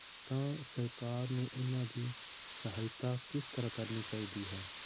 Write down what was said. ਤਾਂ ਸਰਕਾਰ ਨੂੰ ਉਹਨਾਂ ਦੀ ਸਹਾਇਤਾ ਕਿਸ ਤਰ੍ਹਾਂ ਕਰਨੀ ਚਾਹੀਦੀ ਹੈ?